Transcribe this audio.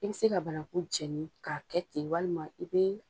I bi se ka banaku jɛni ka kɛ ten walima i be